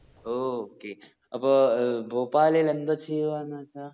ഓ okay അപ്പൊ ഏർ ഭോപ്പാലില് ന്തോ ചെയ്യുആന്ന് ചാ